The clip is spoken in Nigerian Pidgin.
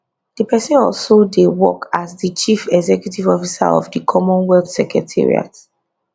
di pesin also dey work as di chief executive officer of di commonwealth secretariat